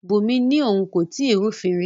Bunmi ni oun ko tii rufin ri